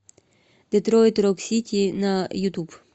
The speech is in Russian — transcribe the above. детройт рок сити на ютуб